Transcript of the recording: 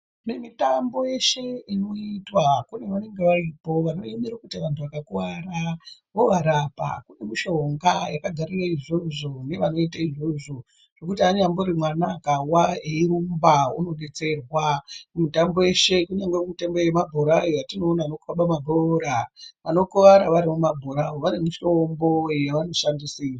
Kune mutambo yeshe inoitwa kune vanenge varipo vanoemera kuti vantu vakakuwara vovarapa kune mushonga yakagarire izvozvo nevanoite izvozvo zvekuti anyambori mwana akawa eirumba unodetserwa, kumitambo yeshe kunyangwe mitambo yemabhoora yatinoona anokhabe mabhora vanokuwara vari mumabhora vane mitombo yavanoshandisi.